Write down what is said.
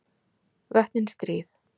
Vötnin stríð.